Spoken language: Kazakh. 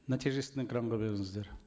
нәтижесін экранға беріңіздер